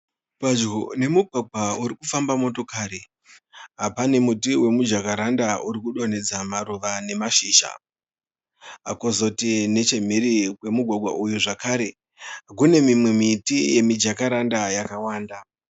Padyo nemugwagwa urikufamba motokari, pane muti wemujakaranda urikudonhedza maruva nemashizha, kozoti nechemhiri kwemugwagwa uyu zvakare kune mimwe miti yemijakaranda yakawanda